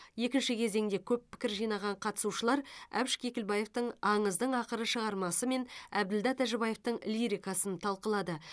екінші кезеңде көп пікір жинаған қатысушылар әбіш кекілбаевтың аңыздың ақыры шығармасы мен әбілда тәжібаевтың лирикасын талқылады